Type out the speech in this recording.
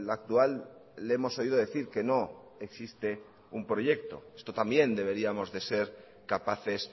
actual le hemos oído decir que no existe un proyecto esto también deberíamos de ser capaces